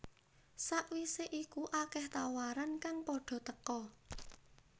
Sakwise iku akeh tawaran kang padha teka